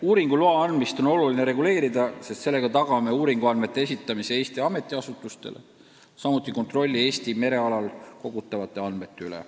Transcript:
Uuringuloa andmist on oluline reguleerida, sest sellega tagame uuringuandmete esitamise Eesti ametiasutustele, samuti kontrolli Eesti merealal kogutavate andmete üle.